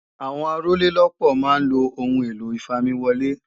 Àwọn Arólélópòó máa ń lo Ohun èlò ìfamiwọlé